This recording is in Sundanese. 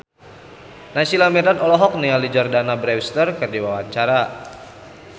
Naysila Mirdad olohok ningali Jordana Brewster keur diwawancara